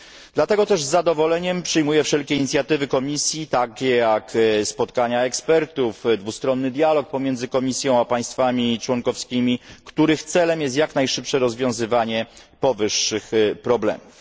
Dlatego też z zadowoleniem przyjmuję wszelkie inicjatywy Komisji, takie jak spotkania ekspertów i dwustronny dialog pomiędzy Komisją a państwami członkowskimi, których celem jest jak najszybsze rozwiązanie powyższych problemów.